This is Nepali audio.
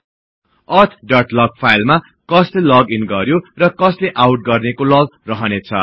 अथ डट लग फाईलमा कसले लग इन गर्यो र कस्ले आउट गर्नेको लग रहनेछ